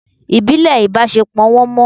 Ibile ibasepo won mọ